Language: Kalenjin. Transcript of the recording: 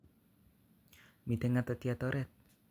Miten ngatat'yat oret